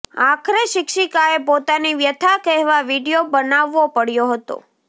આખરે શિક્ષિકાએ પોતાની વ્યથા કહેવા વીડિયો બનાવવો પડ્યો હતો